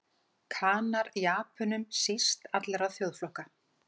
Kanar Japönum síst allra þjóðflokka.